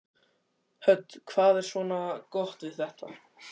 Hödd: Hvað er svona gott við þetta?